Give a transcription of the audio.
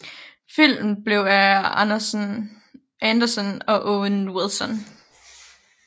Filmen blev af Anderson og Owen Wilson